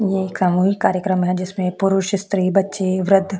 ये सामूहिक कार्यक्रम है जिसमे पुरुष स्त्री बच्चे वृद्ध--